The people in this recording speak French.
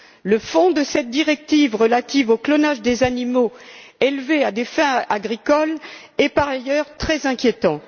Le fond de cette directive relative au clonage des animaux élevés à des fins agricoles est par ailleurs très inquiétant.